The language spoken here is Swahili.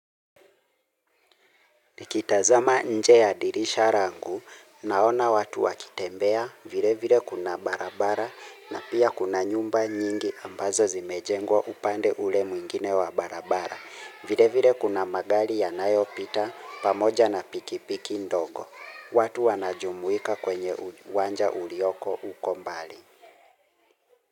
Nikitazama nje ya dirisha langu naona watu wakitembea vile vile kuna barabara na pia kuna nyumba nyingi ambazo zimejengwa upande ule mwingine wa barabara. Vile vile kuna magari yanayopita pamoja na pikipiki ndogo. Watu wanajumuika kwenye uwanja ulioko huko mbali.